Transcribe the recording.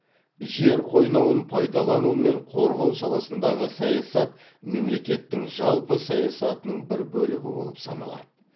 жер қойнауын пайдалану мен қорғау саласындағы саясат мемлекеттің жалпы саясатының бір бөлігі болып саналады